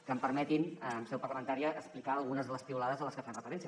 que em permetin en seu parlamentària explicar algunes de les piulades a les que fan referència